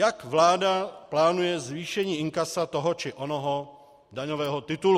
Jak vláda plánuje zvýšení inkasa toho či onoho daňového titulu.